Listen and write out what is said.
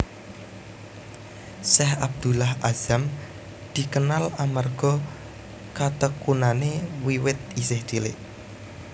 Syeikh Abdullah Azzam dikenal amarga katekunane wiwit isih cilik